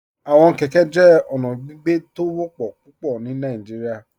Awọn kẹkẹ jẹ ọna gbígbẹ̀ tó ó wọpọ̀ pupọ̀ ní Nàìjíríà.